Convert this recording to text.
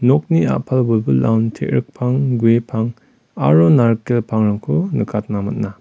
nokni a·pal wilwilaon te·rikpang guepang aro narikel pangrangko nikatna man·a.